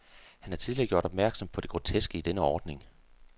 Han har tidligere gjort opmærksom på det groteske i denne ordning.